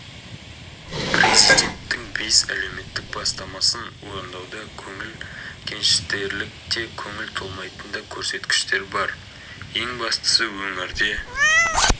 президенттің бес әлеуметтік бастамасын орындауда көңіл көншітерлік те көңіл толмайтын да көрсеткіштер бар ең бастысы өңірде